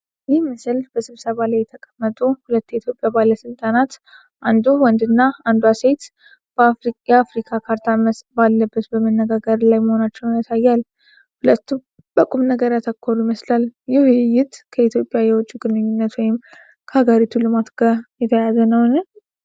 ይህ ምስል በስብሰባ ላይ የተቀመጡ ሁለት የኢትዮጵያ ባለሥልጣናት፣ አንዱ ወንድና አንዷ ሴት፣ የአፍሪካ ካርታ ባለበት በመነጋገር ላይ መሆናቸውን ያሳያል። ሁለቱም በቁም ነገር ያተኮሩ ይመስላል። ይህ ውይይት ከኢትዮጵያ የውጭ ግንኙነት ወይም ከሀገሪቱ ልማት ጋር የተያያዘ ነውን?